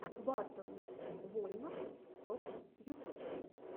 батл вольнов токс ютуб